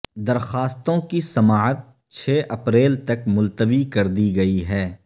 درخواستوں کی سماعت چھ اپریل تک ملتوی کردی گئی ہے